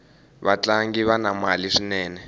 vatlangi vana mali swinene